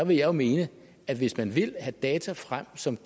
jo mene at hvis man vil have data frem som